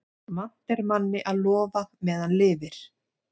Vant er manni að lofa meðan lifir.